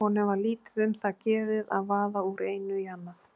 Honum var lítið um það gefið að vaða úr einu í annað.